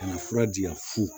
Ka na fura di yan fu